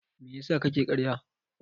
Me yasa kake ƙarya?